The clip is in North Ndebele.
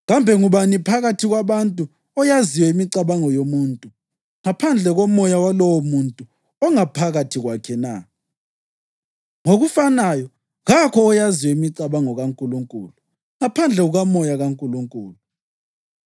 Kambe ngubani phakathi kwabantu oyaziyo imicabango yomuntu ngaphandle komoya walowomuntu ongaphakathi kwakhe na? Ngokufanayo, kakho oyaziyo imicabango kaNkulunkulu ngaphandle kukaMoya kaNkulunkulu.